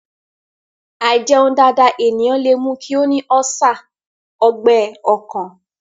Àìjẹun dáadáa ènìyàn lè mú kí ó ní ọ́sà/ Ọgbẹ́ ọkàn